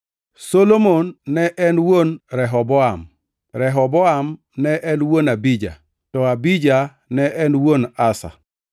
Solomon ne en wuon Rehoboam, Rehoboam ne en wuon Abija, to Abija ne en wuon Asa.